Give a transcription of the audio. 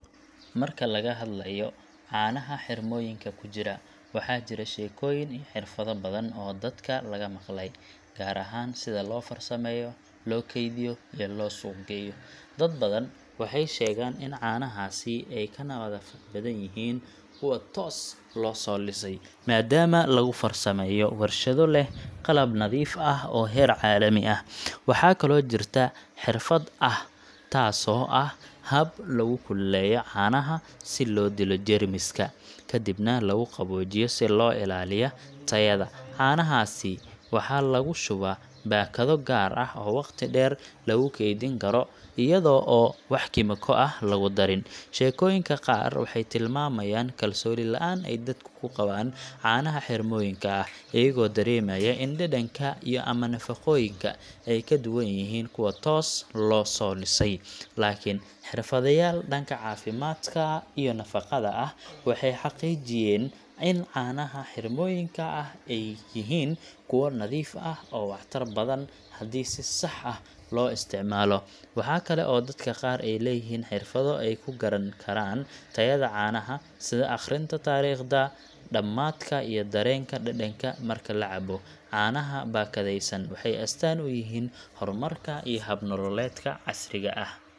Marka laga hadlayo caanaha xirmooyinka ku jira, waxaa jira sheekooyin iyo xirfado badan oo dadka laga maqlay, gaar ahaan sida loo farsameeyo, loo kaydiyo, iyo loo suuq geeyo. Dad badan waxay sheegaan in caanahaasi ay ka nadaafad badan yihiin kuwa toos loo soo lisay, maadaama lagu farsameeyo warshado leh qalab nadiif ah oo heer caalami ah. Waxaa kaloo jirta xirfad ah taasoo ah hab lagu kululeeyo caanaha si loo dilo jeermiska, kadibna lagu qaboojiyo si loo ilaaliyo tayada. Caanahaas waxaa lagu shubaa baakado gaar ah oo waqti dheer lagu kaydin karo iyadoo aan wax kiimiko ah lagu darin. Sheekooyinka qaar waxay tilmaamayaan kalsooni la’aan ay dadku ku qabaan caanaha xirmooyinka ah, iyagoo dareemaya in dhadhanka ama nafaqooyinku ay ka duwan yihiin kuwa tooska loo liso. Laakiin xirfadlayaal dhanka caafimaadka iyo nafaqada ah waxay xaqiijiyeen in caanaha xirmooyinka ah ay yihiin kuwo nadiif ah oo waxtar badan haddii si sax ah loo isticmaalo. Waxa kale oo dadka qaar ay leeyihiin xirfado ay ku garan karaan tayada caanaha, sida akhrinta taariikhda dhammaadka iyo dareenka dhadhanka marka la cabbo. Caanaha baakadaysan waxay astaan u yihiin horumarka iyo hab nololeedka casriga ah.